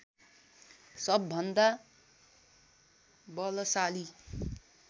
सबभन्दा बलशाली